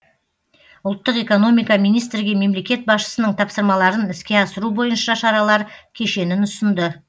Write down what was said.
ұлттық экономика министрге мемлекет басшысының тапсырмаларын іске асыру бойынша шаралар кешенін ұсынды